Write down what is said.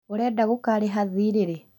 ũrenda gũkarĩha thiirĩ rĩ?